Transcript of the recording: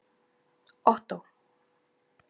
Ottó